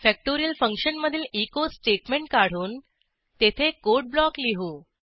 factorial फंक्शनमधील echo statement काढून तेथे कोड ब्लॉक लिहू